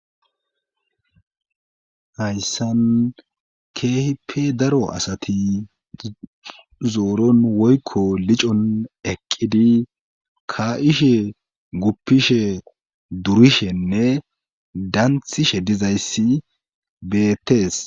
Hayssan keehipe daro asati zooron woykko licon eqqidi ka7ishe guppishe durishenne danthishe dizayssi beettees.